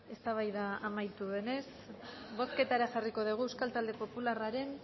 eztabaida amaitu denez bozketara jarriko dugu euskal talde popularraren